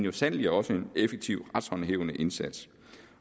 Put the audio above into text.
og sandelig også en effektiv retshåndhævende indsats